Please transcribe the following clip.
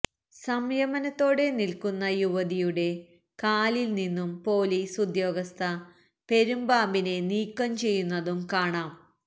സംയമനത്തോടെ നില്ക്കുന്ന യുവതിയുടെ കാലില് നിന്നും പോലീസ് ഉദ്യോഗസ്ഥ പെരുമ്പാമ്പിനെ നീക്കം ചെയ്യുന്നതും കാണാം